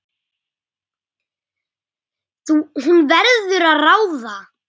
Hún verður að ráða.